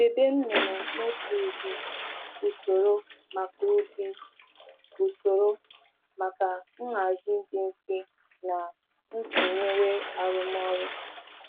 Debe anụ ọkụkọ n’otu ụdị usoro ka njikwa na njikwa na mfu-mfu arụmọrụ bụrụ ihe dị mfe.